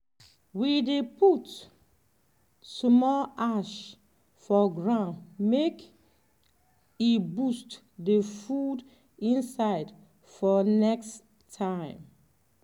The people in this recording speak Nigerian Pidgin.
we dey put small ash for ground make e boost the food inside for next time.